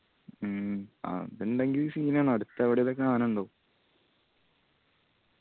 മ്മ് അതുണ്ടെങ്കിൽ scene ആണ് അടുത്തേ എവിടേലു ഒക്കെ ആന ഇണ്ടാവു.